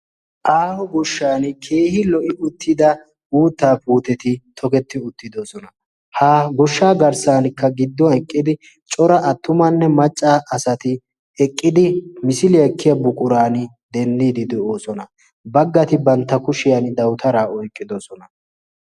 aaho goshshan keehi lo''i uttida uuttaa puuteti toketti uttidosona ha goshshaa garssankka gidduwn eqqidi cora attumanne macca asati eqqidi misiliyaa ekkiya buquran deenniidi de'oosona baggati bantta kushiyan dautaraa oyqqidosona